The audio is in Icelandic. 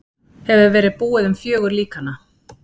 Hefur verið búið um fjögur líkanna.